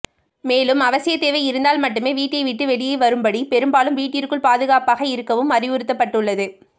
மேலும் அவசிய தேவை இருந்தால் மட்டுமே வீட்டை விட்டு வெளியே வரும்படி பெரும்பாலும் வீட்டிற்குள் பாதுகாப்பாக இருக்கவும் அறிவுறுத்தப்பட்டுள்ளது